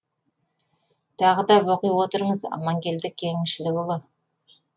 тағы да оқи отырыңыз амангелді кеңшілікұлы